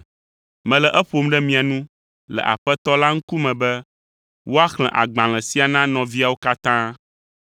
Mele eƒom ɖe mia nu le Aƒetɔ la ŋkume be woaxlẽ agbalẽ sia na nɔviawo katã.